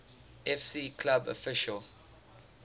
fc club official